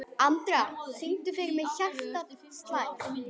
Andra, syngdu fyrir mig „Hjartað slær“.